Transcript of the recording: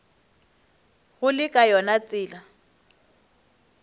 go le ka yona tsela